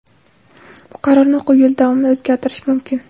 Bu qarorni o‘quv yili davomida o‘zgartirish mumkin.